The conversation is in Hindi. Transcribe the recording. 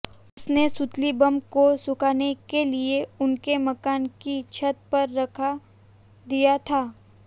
उसने सुतली बम को सुखाने के लिए उनके मकान की छत पर रखा दिया था